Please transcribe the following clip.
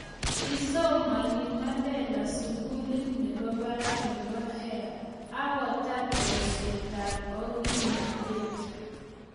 kisomane Mandela sukulit nebo barak nebo Hare ak kotar boisietab ogilnotet